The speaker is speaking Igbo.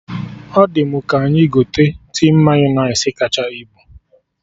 Ọ dị mụ ka anyị gote tin Mayọnais kacha ibu